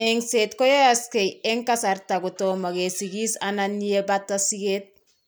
Engset koyaakse eng' kasarta kotomo kesikis anan yee baata siget.